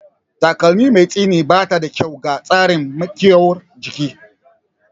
Takalmi mai tsini bata da kyau ga tsarin miƙuwar jiki